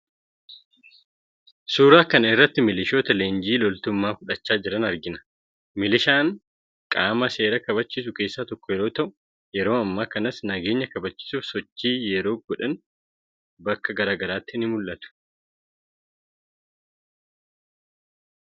Suuraa kana irratti milishoota leenjii loltummaa fudhachaa jiran argina. Milishaan qaama seera kabachiisu keessaa tokko yeroo ta'u yeroo ammaa kanas nageenya kabachiisuuf sosochii yeroo godhaan bakka gara garaatti ni mul'atu.